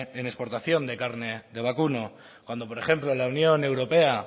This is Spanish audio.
en exportación de carne de vacuno cuando por ejemplo la unión europea